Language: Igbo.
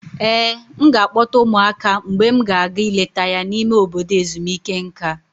Ee, m ga-akpọta ụmụaka mgbe m ga-aga ileta ya n'ime obodo ezumike nka.